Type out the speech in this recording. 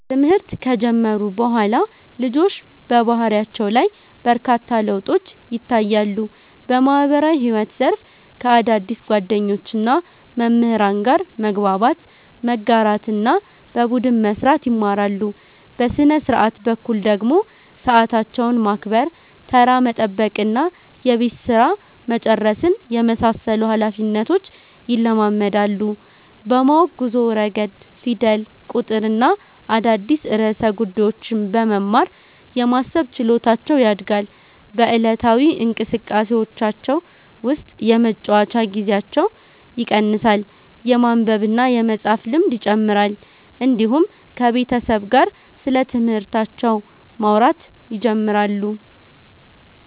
ትምህርት ከጀመሩ በኋላ ልጆች በባህሪያቸው ላይ በርካታ ለውጦች ይታያሉ። በማህበራዊ ግንኙነት ዘርፍ ከአዳዲስ ጓደኞችና መምህራን ጋር መግባባት፣ መጋራትና በቡድን መስራት ይማራሉ። በሥነ-ሥርዓት በኩል ደግሞ ሰዓታቸውን ማክበር፣ ተራ መጠበቅና የቤት ሥራ መጨረስን የመሳሰሉ ኃላፊነቶች ይለማመዳሉ። በማወቅ ጉዞ ረገድ ፊደል፣ ቁጥርና አዳዲስ ርዕሰ ጉዳዮችን በመማር የማሰብ ችሎታቸው ያድጋል። በዕለታዊ እንቅስቃሴዎቻቸው ውስጥ የመጫወቻ ጊዜያቸው ይቀንሳል፣ የማንበብና የመፃፍ ልምድ ይጨምራል፣ እንዲሁም ከቤተሰብ ጋር ስለትምህርታቸው ማውራት ይጀምራሉ።